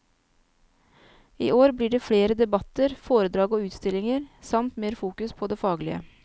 I år blir det flere debatter, foredrag og utstillinger, samt mer fokus på det faglige.